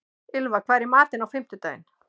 Ylfa, hvað er í matinn á fimmtudaginn?